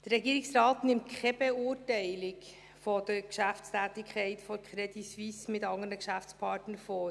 Der Regierungsrat nimmt keine Beurteilung der Geschäftstätigkeit der CS mit anderen Geschäftspartnern vor.